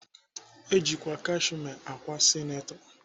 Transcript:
Eji ákwà kashme ákwà sineto.